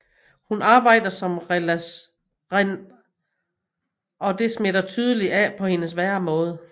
Hun arbejder som rationaliseringsekspert og det smitter tydeligt af på hendes væremåde